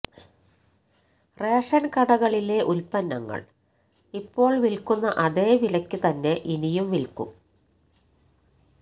ration കടകളിലെ ഉത്പന്നങ്ങൾ ഇപ്പോൾ വിൽക്കുന്ന അതേ വിലയ്ക്ക് തന്നെ ഇനിയും വിൽക്കും